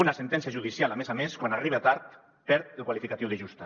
una sentència judicial a més a més quan arriba tard perd el qualificatiu de justa